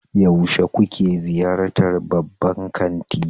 Yaushe kuke ziyartar babban kanti?